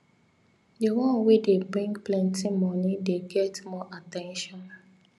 the one wey dey bring plenty moni dey get more at ten tion